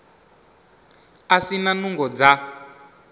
a si na nungo dza